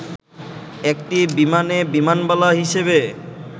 একটি বিমানে বিমানবালা হিসেবে